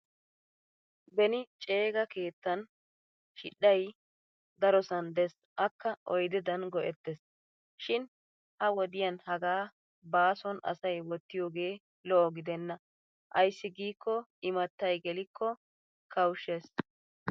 Beni ceega keettan shidhdhay darosan Des akka oydedan go'ettes. Shin ha wodiyan hagaa bason asay wottiyoogee lo'o gidenna ayssi giikko imattay geelikko kawushshes.